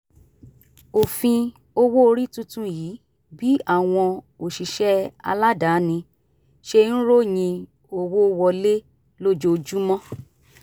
òfin owó orí tuntun yí bí àwọn òṣìṣẹ́ aládàáni ṣe ń ròyìn owó wọlé lójoojúmọ́